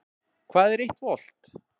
Hvað er eitt volt?